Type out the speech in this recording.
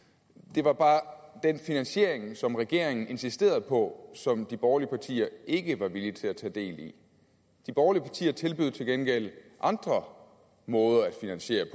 det var bare den finansiering som regeringen insisterede på som de borgerlige partier ikke var villige til at tage del i de borgerlige partier tilbød til gengæld andre måder at finansiere det